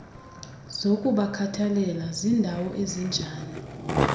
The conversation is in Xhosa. zokubakhathalela zindawo ezinjani